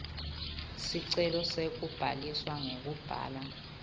sicelo sekubhaliswa ngekubhala